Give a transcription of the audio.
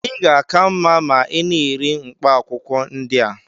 ị ga-aka mma ma ị na-eri mkpaakwụkwọ ndị a